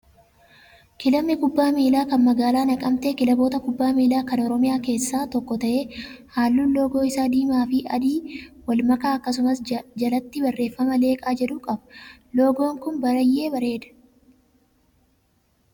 Kilabni kubbaa miilaa kan magaalaa naqamtee kilaboota kubbaa miilaa kan oromiyaa keessaa tokko ta'ee, halluun loogoo isaa diimaa fi adii wal makaa akkasumas jalatti barreeffama leeqaa jedhu qaba. Loogoon Kun baay'ee bareeda.